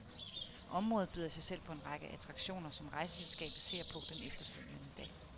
Området byder i sig selv på en række attraktioner, som rejseselskabet ser på den efterfølgende dag.